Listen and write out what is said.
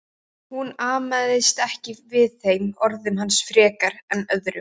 Hún amaðist ekki við þeim orðum hans frekar en öðrum.